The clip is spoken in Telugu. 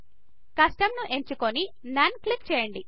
కస్టమ్ కస్టమ్ ను ఎంచుకొని నోన్ క్లిక్ చేయండి